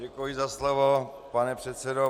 Děkuji za slovo, pane předsedo.